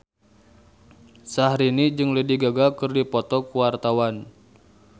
Syahrini jeung Lady Gaga keur dipoto ku wartawan